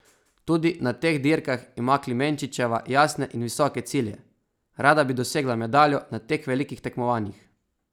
Tudi na teh dirkah ima Klemenčičeva jasne in visoke cilje: "Rada bi dosegla medaljo na teh velikih tekmovanjih.